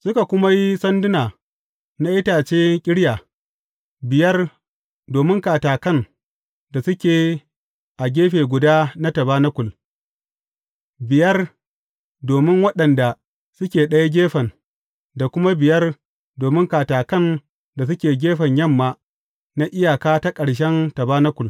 Suka kuma yi sanduna na itace ƙirya, biyar domin katakan da suke a gefe guda na tabanakul, biyar domin waɗanda suke ɗayan gefen da kuma biyar domin katakan da suke gefen yamma na iyaka ta ƙarshen tabanakul.